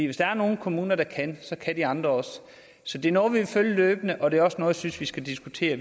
hvis der er nogle kommuner der kan så kan de andre også så det er noget vi vil følge løbende og det er også noget jeg synes vi skal diskutere